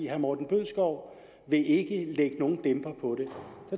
herre morten bødskov vil ikke lægge nogen dæmper på det der